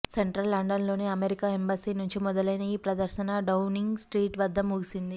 central లండన్లోని America embassy నుంచి మొదలయిన ఈ ప్రదర్శన డౌనింగ్ స్ట్రీట్ వద్ద ముగిసింది